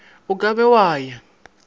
o ka be wa ya